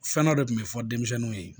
Fɛn dɔ de kun bɛ fɔ denmisɛnninw ye